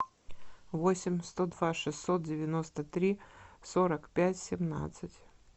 восемь сто два шестьсот девяносто три сорок пять семнадцать